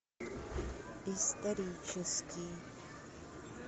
исторический